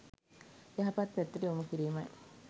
යහපත් පැත්තට යොමු කිරීමයි.